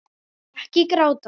Ekki gráta